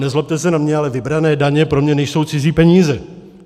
Nezlobte se na mě, ale vybrané daně pro mě nejsou cizí peníze.